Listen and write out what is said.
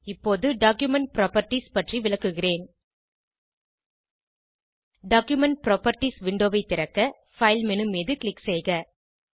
இப்போது document properties பற்றி விளக்குகிறேன் டாக்குமென்ட் புராப்பர்ட்டீஸ் விண்டோவை திறக்க பைல் மேனு மீது க்ளிக் செய்க